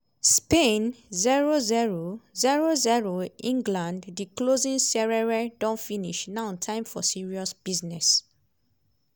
spain 0-0 0-0 england di closing serenre don finish now time for serious business.